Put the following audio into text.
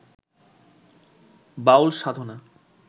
বাউল সাধনা